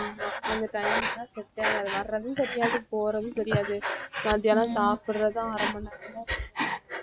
அந்த timing லாம் set ஏ ஆகாது வர்றதும் தெரியாது போறதும் தெரியாது மதியானம் சாப்பிடறதும் அரை மணி நேரம்தான் சொல்றாங்க